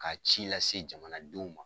K'a ci lase jamanadenw ma